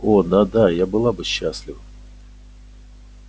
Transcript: о да да я была бы счастлива